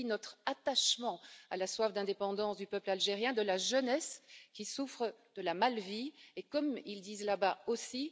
elle dit notre attachement à la soif d'indépendance du peuple algérien et de la jeunesse qui souffre de la mal vie. Comme ils disent là bas aussi